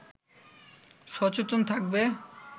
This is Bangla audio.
সচেতন থাকবে